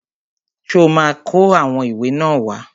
Ṣó ma kó àwọn ìwé náà wá?